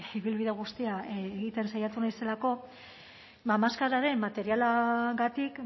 ibilbide guztia egiten saiatu naizelako ba maskararen materialagatik